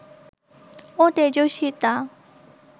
ও তেজস্বিতা